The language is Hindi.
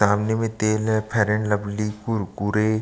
सामने में तेल है फेयर लवली कुरकुरे--